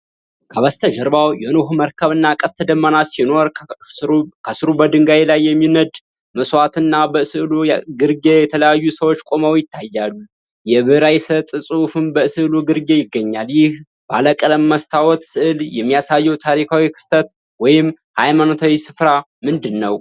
ከበስተጀርባው የኖኅ መርከብ እና ቀስተ ደመና ሲኖሩ፣ ከስሩ በድንጋይ ላይ የሚነድ መስዋዕት እና በስዕሉ ግርጌ የተለያዩ ሰዎች ቆመው ይታያሉ፤ የዕብራይስጥ ጽሑፍም በስዕሉ ግርጌ ይገኛል። ይህ ባለቀለም መስታወት ስዕል የሚያሳየው ታሪካዊ ክስተት ወይም የሃይማኖታዊ ስፍራ ምንድነው?